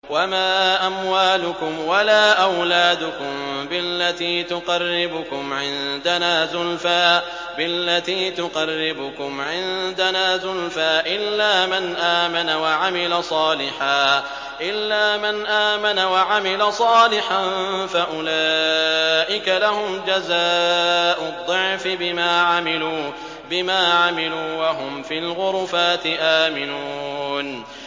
وَمَا أَمْوَالُكُمْ وَلَا أَوْلَادُكُم بِالَّتِي تُقَرِّبُكُمْ عِندَنَا زُلْفَىٰ إِلَّا مَنْ آمَنَ وَعَمِلَ صَالِحًا فَأُولَٰئِكَ لَهُمْ جَزَاءُ الضِّعْفِ بِمَا عَمِلُوا وَهُمْ فِي الْغُرُفَاتِ آمِنُونَ